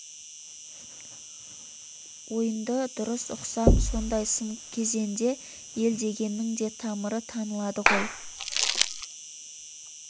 ойынды дұрыс ұқсам сондай сын кезенде ел дегеннің де тамыры танылады ғой